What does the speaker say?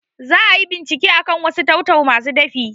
Za ayi bincike akan wasu tau-tau masu dafi